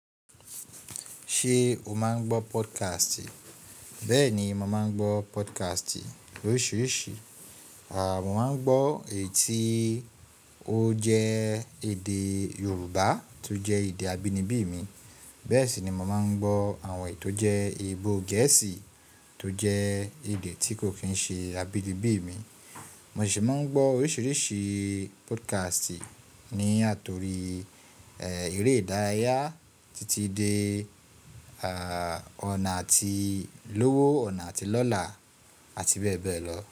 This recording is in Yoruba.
Ṣé o máa ń gbọ́ podcast? Bẹ́ẹ̀ ni, mo máa ń gbọ́ podcast oríṣiríṣi. Mo máa ń gbọ́ èyí tó jẹ́ èdè Yorùbá, tó jẹ́ èdè abínibí mi. Bẹ́ẹ̀ sì ni mo máa ń gbọ́ àwọn èyí tó jẹ́ èdè eebò Gẹ̀ẹ́sì tó jẹ́ èdè tí kò ki n ṣe abínibí mi. Mo sì máa ń gbọ́ oríṣiríṣi podcast ní àtòrí eré ìdárayá títí dé ọ̀nà àti lówó, ọ̀nà àti lọ́la, àti bẹ́ẹ̀ bẹ́ẹ̀ lọ.